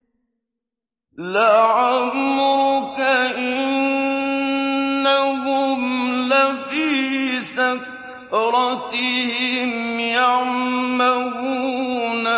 لَعَمْرُكَ إِنَّهُمْ لَفِي سَكْرَتِهِمْ يَعْمَهُونَ